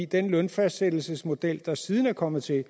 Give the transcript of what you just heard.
den lønfastsættelsesmodel der siden er kommet til er